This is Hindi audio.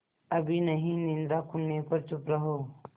अभी नहीं निद्रा खुलने पर चुप रहो